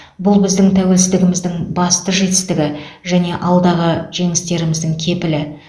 бұл біздің тәуелсіздігіміздің басты жетістігі және алдағы жеңістеріміздің кепілі